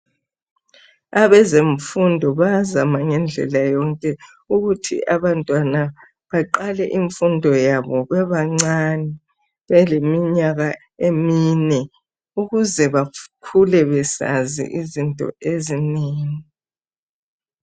Abezemfundo bayazama ngendlela yonke ukuthi abantwana baqale infundo yabo bebancane, beleminyaka emine. Ukuze bakule besazi izinto ezinengi.